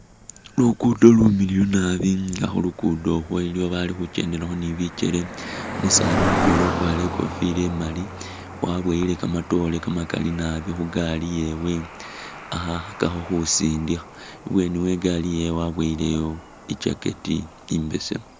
Lukudo lumiliyu naabi nga khulugudo khweliloba bali khukendelakho ne bikele umusani mutwela ukwarire ikofila imali wabowele kamatore kamakali naabi khugaali yewe ali khukhakakho khusindikha, ibwenui we igaali yewe waboyeleyo i'jacket imbesemu.